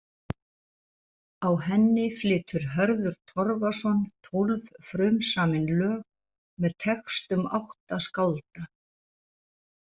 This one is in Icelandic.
Á henni flytur Hörður Torfason tólf frumsamin lög með textum átta skálda.